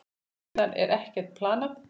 Síðan er ekkert planað.